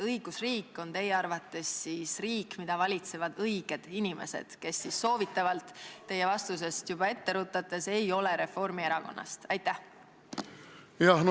Kas õigusriik on teie arvates riik, mida valitsevad õiged inimesed, kes soovitavalt – teie vastusest ette rutates – ei ole Reformierakonnast?